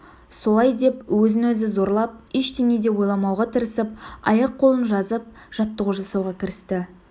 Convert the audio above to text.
солай деп өзін-өзі зорлап ештеңе де ойламауға тырысып аяқ-қолын жазып жаттығу жасауға кірісті